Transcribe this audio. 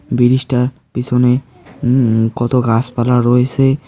বিরিজটার পেছনে উম কত গাছপালা রয়েসে।